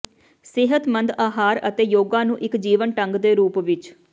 ਸਿਹਤਮੰਦ ਆਹਾਰ ਅਤੇ ਯੋਗਾ ਨੂੰ ਇੱਕ ਜੀਵਨ ਢੰਗ ਦੇ ਰੂਪ ਵਿੱਚ